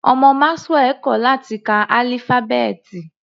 Ọmọ Maxwell kò láti ka álífábẹ́ẹ̀tì.